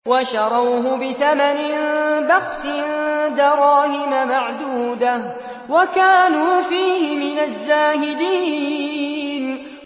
وَشَرَوْهُ بِثَمَنٍ بَخْسٍ دَرَاهِمَ مَعْدُودَةٍ وَكَانُوا فِيهِ مِنَ الزَّاهِدِينَ